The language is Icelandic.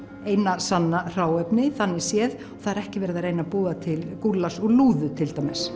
eina sanna hráefni þannig séð það er ekki verið að reyna að búa til gúllas og lúðu til dæmis